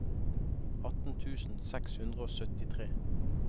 atten tusen seks hundre og syttitre